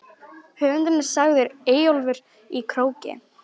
Höfundur er sagður Eyjólfur í Króki.